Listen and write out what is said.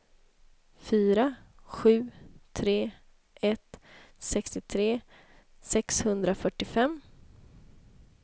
fyra sju tre ett sextiotre sexhundrafyrtiofem